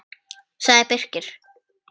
sagði Birkir.